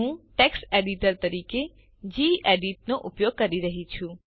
હું text editor તરીકે gedit નો ઉપયોગ કરી રહ્યી છું